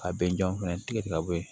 A bɛnjaw fɛnɛ tigɛ ka bɔ yen